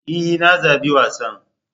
E! Na zabi wasan.